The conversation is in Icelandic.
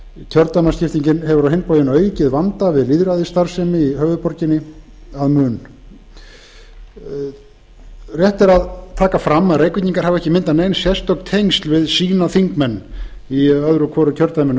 kjördæmaskiptingin hefur á hinn bóginn aukið vanda við lýðræðisstarfsemi í höfuðborginni að mun rétt er að taka fram að reykvíkingar hafa ekki myndað nein sérstök tengsl við sína þingmenn í öðru hvoru kjördæminu